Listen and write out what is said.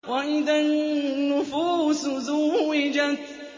وَإِذَا النُّفُوسُ زُوِّجَتْ